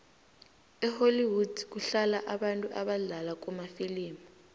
ehollwood kuhlala abantu abadlala kumafilimu